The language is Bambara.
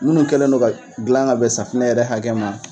Minnu kɛlen nɔ ka dilan ka bɛ safinɛ yɛrɛ hakɛ ma